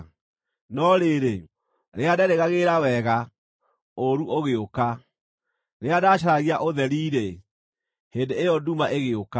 No rĩrĩ, rĩrĩa ndeerĩgagĩrĩra wega, ũũru ũgĩũka; rĩrĩa ndaacaragia ũtheri-rĩ, hĩndĩ ĩyo nduma ĩgĩũka.